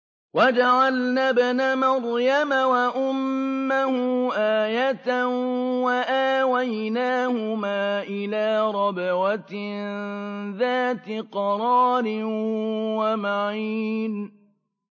وَجَعَلْنَا ابْنَ مَرْيَمَ وَأُمَّهُ آيَةً وَآوَيْنَاهُمَا إِلَىٰ رَبْوَةٍ ذَاتِ قَرَارٍ وَمَعِينٍ